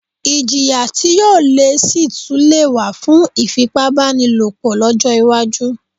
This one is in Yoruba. Iljìyà tí yóò le síi tún lè wà fún ìfipá bánilòpọ̀ lọ́jọ́ iwájú